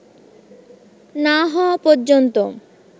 না হওয়া পর্যন্ত